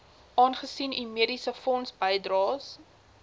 aangesien u mediesefondsbydraes